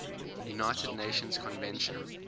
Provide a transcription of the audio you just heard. united nations convention